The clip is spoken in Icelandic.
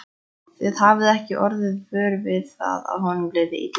Þið hafið ekki orðið vör við að honum liði illa?